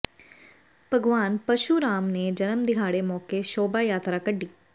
ਭਗਵਾਨ ਪਰਸ਼ੂਰਾਮ ਦੇ ਜਨਮ ਦਿਹਾੜੇ ਮੌਕੇ ਸ਼ੋਭਾ ਯਾਤਰਾ ਕੱਢੀ